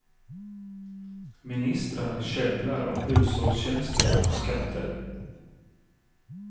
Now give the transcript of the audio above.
Ministrar käbblar om hushållstjänster och skatter.